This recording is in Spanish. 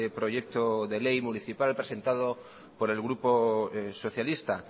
proyecto de ley municipal presentado por el grupo socialista